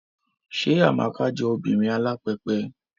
Ṣé Amaka jọ obìnrin alápẹpẹ?